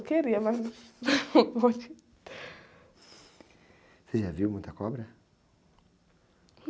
Eu queria, mas... ocê já viu muita cobra?